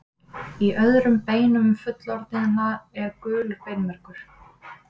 Í öðrum beinum fullorðinna er gulur beinmergur.